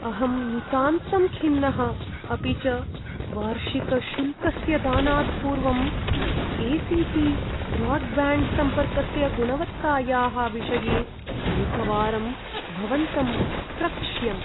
अहं नितान्तं खिन्नः अपि च वार्षिकशुल्कस्य दानात् पूर्वं ए सी टी ब्रोड्ब्याण्ड्सम्पर्कस्य गुणवत्तायाः विषये एकवारं भवन्तम् अप्रक्ष्यम्।